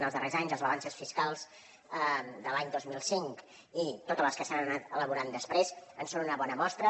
en els darrers anys les balances fiscals de l’any dos mil cinc i totes les que s’han anat elaborant després en són una bona mostra